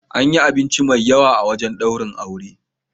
An yi abinci mai yawa a wurin daurin auren.